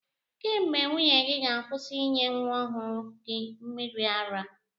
Kee mgbe nwunye gị ga-akwụsị ịnye nwa ọhụrụ gị mmịrị ara?